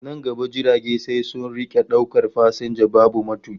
Nan gaba jirage sai sun rika daukar fasinja babu matuki